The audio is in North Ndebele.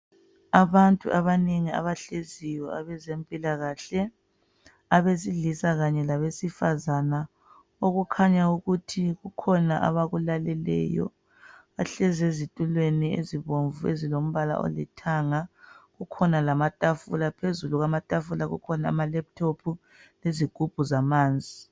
Abantu abanengi abahleziyo abezempilakahle abesilisa kanye labesifazana okukhanya ukuthi kukhona abakulaleleyo. Bahlezi ezitulweni ezibomvu ezilombala olithanga kukhona lamatafula phezu, kwamatafula kulamalephuthophu izigubhu zamanzi.